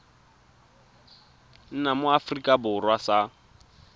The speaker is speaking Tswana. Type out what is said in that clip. nna mo aforika borwa sa